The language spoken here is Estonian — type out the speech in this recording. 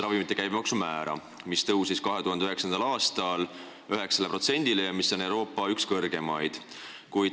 Ravimite käibemaks tõusis meil 2009. aastal 9%-le ja see on Euroopa üks kõrgeimaid.